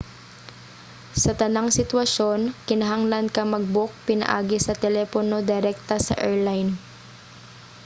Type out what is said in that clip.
sa tanang sitwasyon kinahanglan ka mag-book pinaagi sa telepono direkta sa airline